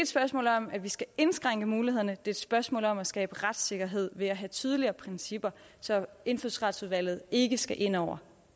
spørgsmål om at vi skal indskrænke mulighederne det er et spørgsmål om at skabe retssikkerhed ved at have tydeligere principper så indfødsretsudvalget ikke skal ind over